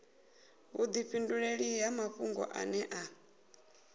vhudifhinduleli ha mafhungo ane a